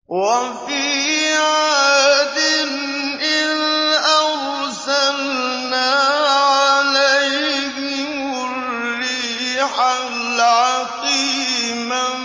وَفِي عَادٍ إِذْ أَرْسَلْنَا عَلَيْهِمُ الرِّيحَ الْعَقِيمَ